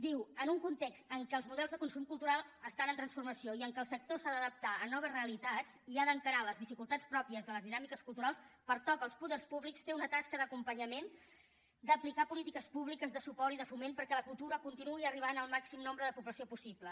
diu en un context en què els models de consum cultural estan en transformació i en què el sector s’ha d’adaptar a noves realitats i ha d’encarar les dificultats pròpies de les dinàmiques culturals pertoca als poders públics fer una tasca d’acompanyament d’aplicar polítiques públiques de suport i de foment perquè la cultura continuï arribant al màxim nombre de població possible